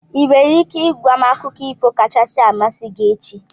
Ị nwere ike ị gwa m akụkọ ifo kachasị amasị gị echi?